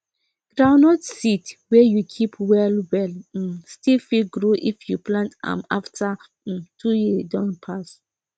groundnut seed wey you keep well well um still fit grow if you plant am after um two years don pass